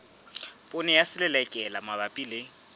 poone ya selelekela mabapi le